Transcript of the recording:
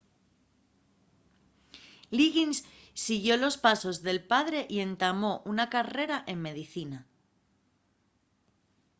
liggins siguió los pasos del padre y entamó una carrera en medicina